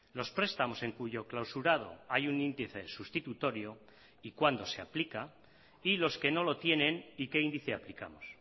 los prestamos en cuyo clausurado hay un índice sustitutorio y cuándo se aplica y los que no lo tienen y qué índice aplicamos